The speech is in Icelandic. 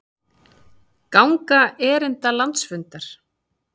Ganga erinda landsfundar